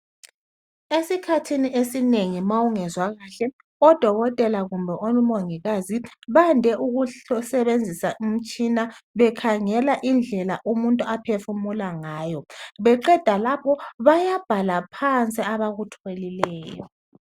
Esikhathini esinengi ma ungezwa kahle odokotela kumbe omongikazi bade ukusebenzisa umtshina bekhangela indlela umuntu ophefumula ngayo beqenda lapho bayabhala phansi abakutholileyo